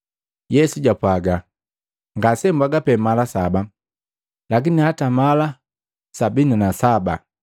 Yesu jwapwaga, “Ngasembwaga pee mala saba, lakini hata makomi saba mala saba.